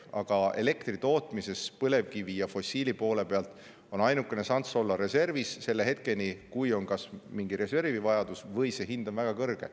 Aga elektri tootmise puhul on põlevkivi ja fossiil poole pealt ainuke šanss olla reservis selle hetkeni, kui on kas tekkinud mingisugune reservi vajadus või on hind väga kõrge.